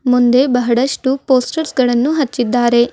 ಮುಂದೆ ಬಹಳಷ್ಟು ಪೋಸ್ಟರ್ಸ್ ಗಳನ್ನು ಹಚ್ಚಿದ್ದಾರೆ.